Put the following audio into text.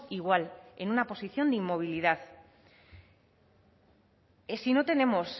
igual en una posición de inmovilidad si no tenemos